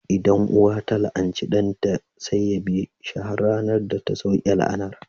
Idan uwa ta la'anci ɗanta, sai ya bi shi har sai ranar da ta sauke la'anar